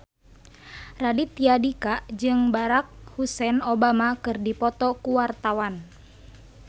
Raditya Dika jeung Barack Hussein Obama keur dipoto ku wartawan